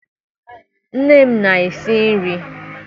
Nne m na-esi nri.